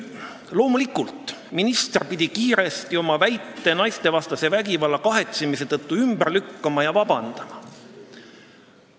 Loomulikult pidi minister kiiresti oma avalduses väidetud naistevastase vägivalla kahetsemise ümber lükkama ja vabandust paluma.